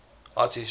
art history